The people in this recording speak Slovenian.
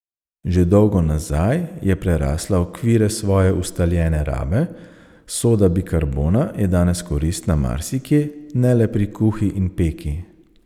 Že dolgo nazaj je prerasla okvire svoje ustaljene rabe, soda bikarbona je danes koristna marsikje, ne le pri kuhi in peki.